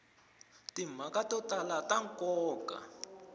timhaka to tala ta nkoka